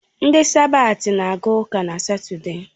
Ndị sabat na aga ụka na Satọde